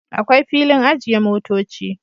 Akwai filin ajiye motoci